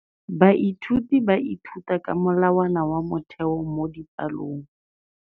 Baithuti ba ithuta ka molawana wa motheo mo dipalong.